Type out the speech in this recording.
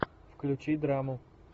включи драму